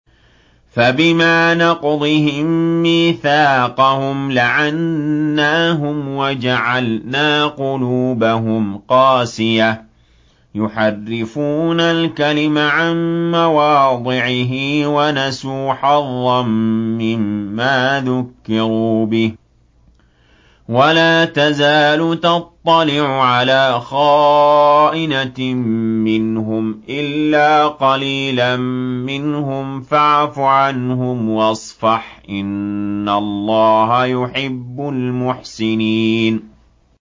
فَبِمَا نَقْضِهِم مِّيثَاقَهُمْ لَعَنَّاهُمْ وَجَعَلْنَا قُلُوبَهُمْ قَاسِيَةً ۖ يُحَرِّفُونَ الْكَلِمَ عَن مَّوَاضِعِهِ ۙ وَنَسُوا حَظًّا مِّمَّا ذُكِّرُوا بِهِ ۚ وَلَا تَزَالُ تَطَّلِعُ عَلَىٰ خَائِنَةٍ مِّنْهُمْ إِلَّا قَلِيلًا مِّنْهُمْ ۖ فَاعْفُ عَنْهُمْ وَاصْفَحْ ۚ إِنَّ اللَّهَ يُحِبُّ الْمُحْسِنِينَ